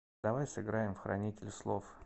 давай сыграем в хранитель слов